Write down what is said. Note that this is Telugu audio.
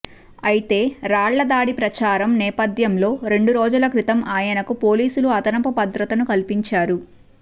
అయితే రాళ్లదాడి ప్రచారం నేపథ్యంలో రెండు రోజుల క్రితం ఆయనకు పోలీసులు అదనపు భద్రతను కల్పించారు